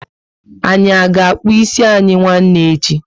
Anyị a ga akpu ịsị anyị nwanne echi?